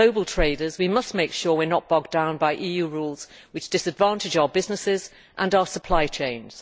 we are global traders, and we must make sure we are not bogged down by EU rules which disadvantage our businesses and our supply chains.